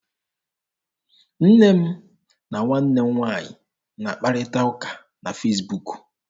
Nne m na nwanne m nwaanyị na-akparịta ụka na Fesbuk.